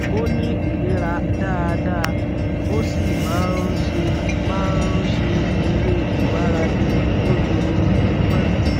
ó ní ìlera dáadáa ó sì máa ń ṣe máa ń ṣe eré ìmárale lójuoojúmọ